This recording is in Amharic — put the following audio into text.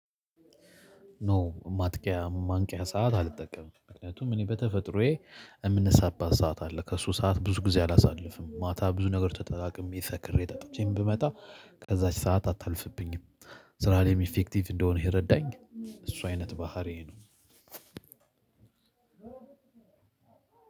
ኖ ማጥቂያ ማንቂያ ሰዓት አልጠቀምም ምክንያቱም እኔ በተፈጥሮዬ የምንሳበት ሰዓት አለ ከእሱ ሰዓት ብዙ ጊዜ አላሳልፍም ማታ ብዙ ነገር ተጠቅሜ ሰክሬ ጠጥቼም ብመጣ ከዛች ሰዓት አታልፍብኝም። ስራ ላይም ኢፌክቲቭ እንደሆነ የረዳኝ እሱ አይነት ባህሪዬ ነው።